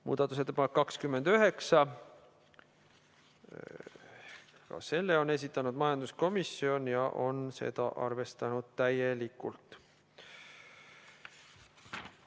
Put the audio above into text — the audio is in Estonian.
Muudatusettepanek nr 29, ka selle on esitanud majanduskomisjon ja on seda arvestanud täielikult.